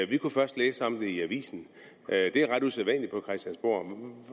vi kunne først læse om det i avisen det er ret usædvanligt på christiansborg